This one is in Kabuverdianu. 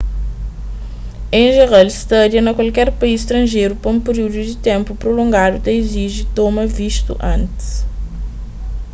en jeral stadia na kualker país stranjeru pa un periúdu di ténpu prulongadu ta iziji toma vistu antis